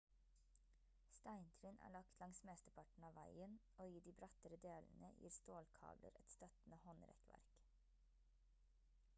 steintrinn er lagt langs mesteparten av veien og i de brattere delene gir stålkabler et støttende håndrekkverk